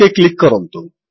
okay click କରନ୍ତୁ